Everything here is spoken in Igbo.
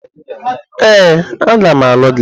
Ee, a ga m alụ gị.